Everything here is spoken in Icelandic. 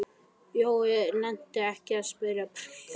Jói nennti ekkert að smyrja brauðið.